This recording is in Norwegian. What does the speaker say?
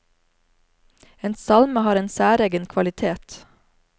En salme har en særegen kvalitet.